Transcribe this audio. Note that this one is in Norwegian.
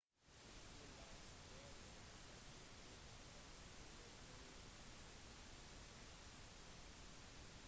to lysstråler har blitt rigget opp til å peke mot himmelen om natten